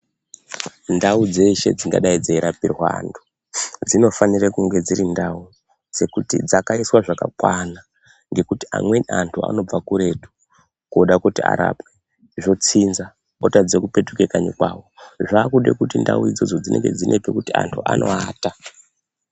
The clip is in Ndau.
Ndau dzese dzingadai dzinorapirwa anthu ,dzinofanire kunge dziri ndau dzekuti dzakaiswa zvakwana ngekuti amweni antu anobva kuretu kuda kuti arapwe , zvotsinza otadza kupetuka kwanyi kwavo zvavakude kuti ndau idzodzo dzinge pekuti antu anoata .